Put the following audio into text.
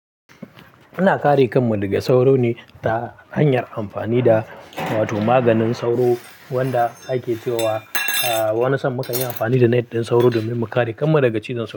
Muna kare kanmu daga sauro ne ta hanyar amfani da wato maganin sauro wanda ake cewa a wani san mukanyi amfani da net ɗin sauro domin kare kanmu daga cizon sauro.